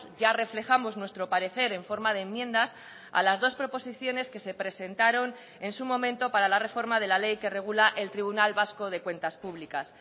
ya reflejamos nuestro parecer en forma de enmiendas a las dos proposiciones que se presentaron en su momento para la reforma de la ley que regula el tribunal vasco de cuentas públicas